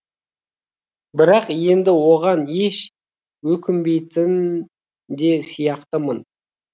бірақ енді оған еш өкінбейтін де сияқтымын